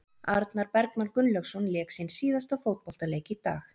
Arnar Bergmann Gunnlaugsson lék sinn síðasta fótboltaleik í dag.